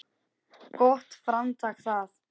Gott framtak það.